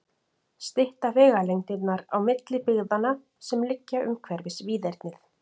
Stytta vegalengdirnar á milli byggðanna, sem liggja umhverfis víðernið?